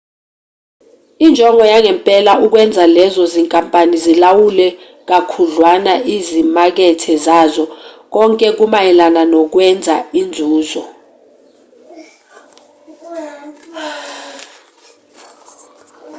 injongo yangempela ukwenza lezo zinkampani zilawule kakhudlwana izimakethe zazo konke kumayelana nokwenza inzuzo